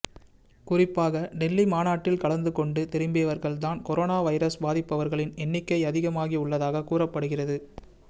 குறிப்பாக டெல்லி மாநாட்டில் கலந்துகொண்டு திரும்பியவர்கள் தான் கொரோனா வைரஸ் பாதித்தவர்களின் எண்ணிக்கை அதிகமாகி உள்ளதாக கூறப்படுகிறது